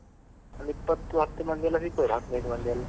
ಒಂದು ಇಪ್ಪತ್ತು ಹತ್ತು ಮಂದಿ ಎಲ್ಲ ಸಿಗ್ಬೋದು ಹದ್ನೈದು ಮಂದಿ ಎಲ್ಲ?